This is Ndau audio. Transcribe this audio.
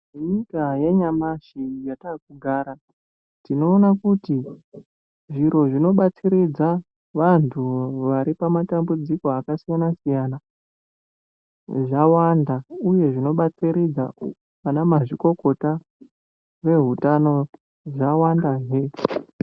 Nyika yanyamashi yataakugara tinoona kuti zviro zvinobatsiridza vantu vari pamatambudziko akasiyana siyana Zvawanda uye zvinobatsiridza ana mazvikokota ehutano zvawandazve.